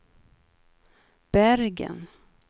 Bergen